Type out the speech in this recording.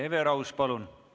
Hele Everaus, palun!